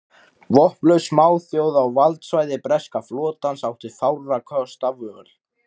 Vopnlaus smáþjóð á valdsvæði breska flotans átti fárra kosta völ.